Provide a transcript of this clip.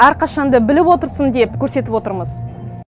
әрқашан да біліп отырсын деп көрсетіп отырмыз